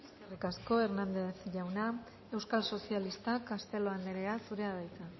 eskerrik asko hernández jauna euskal sozialistak castelo anderea zurea da hitza